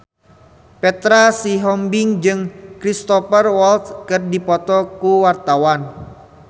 Petra Sihombing jeung Cristhoper Waltz keur dipoto ku wartawan